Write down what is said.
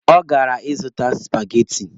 Ọ gara ịzụta supageti.